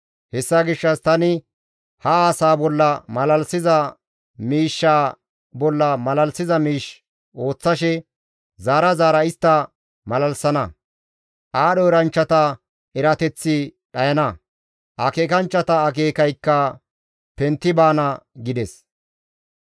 Hessa gishshas tani ha asaa bolla malalisiza miishsha bolla malalisiza miish ooththashe zaara zaara istta malalissana; aadho eranchchata erateththi dhayana; akeekanchchata akeekaykka pentti baana» gides.